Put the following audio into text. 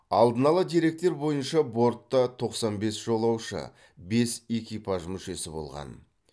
алдын ала деректер бойынша бортта тоқсан бес жолаушы бес экипаж мүшесі болған